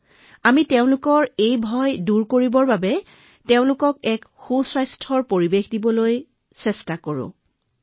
আমি তেওঁলোকৰ ভয় দূৰ কৰিবলৈ এটা ভাল স্বাস্থ্যকৰ পৰিৱেশ দিছিলো মহোদয়